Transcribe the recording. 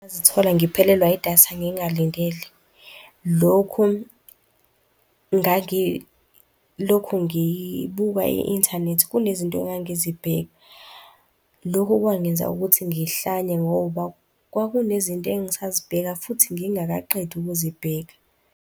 Ngazithola ngiphelelwa idatha ngingalindele. Lokhu, ngangilokhu ngibuka i-inthanethi, kunezinto angangizibheka. Lokhu kwangenza ukuthi ngihlanye ngoba kwakunezinto engingasazibheka futhi ngingakaqedi ukuzibheka.